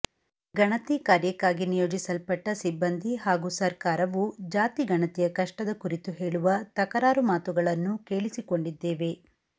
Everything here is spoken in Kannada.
ಗಣತಿ ಕಾರ್ಯಕ್ಕಾಗಿ ನಿಯೋಜಿಸಲ್ಪಟ್ಟ ಸಿಬ್ಬಂದಿ ಹಾಗೂ ಸರ್ಕಾರವು ಜಾತಿಗಣತಿಯ ಕಷ್ಟದ ಕುರಿತು ಹೇಳುವ ತಕರಾರು ಮಾತುಗಳನ್ನೂ ಕೇಳಿಸಿಕೊಂಡಿದ್ದೇವೆ